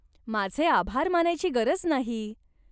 माझे आभार मानायची गरज नाही.